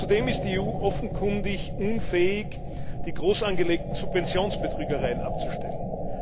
Zudem ist die EU offenkundig unfähig, die großangelegten Subventionsbetrügereien abzustellen.